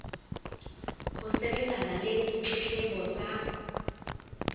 ho sebetsana le ditletlebo tsa